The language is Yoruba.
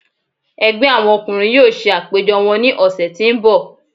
Ẹgbẹ àwọn ọkùnrin yóò ṣe àpéjọ wọn ní ọ̀sẹ̀ tí ń bọ̀.